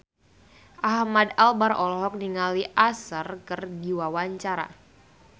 Ahmad Albar olohok ningali Usher keur diwawancara